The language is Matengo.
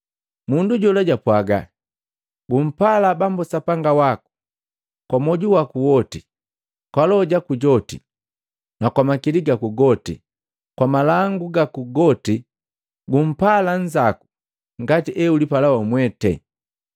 Mundu jola japwaaga, “Gumpala Bambu Sapanga waku kwa mwoju waku woti, kwa loho jaku joti, na kwa makili gaku goti, kwa malangu gaku goti, na gumpala nnzaku ngati eulipala wamwete.”